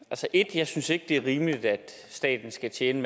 jeg synes ikke det er rimeligt at staten skal tjene